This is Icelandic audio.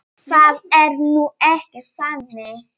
Það er nú ekki þannig.